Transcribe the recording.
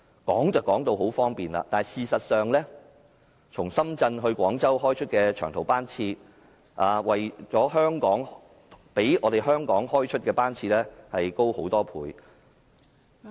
說得很方便，但事實上，從深圳到廣州開出的長途班次，較香港開出的班次多很多倍......